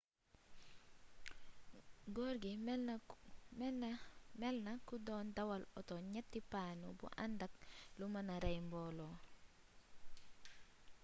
gorgui melna ko don dawal oto ñetti panu bu andak lu mëna rey mboolo